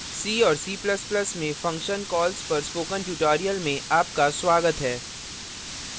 c और c ++ में function calls पर spoken tutorial में आपका स्वागत है